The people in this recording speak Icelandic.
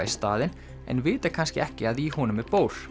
í staðinn en vita kannski ekki að í honum er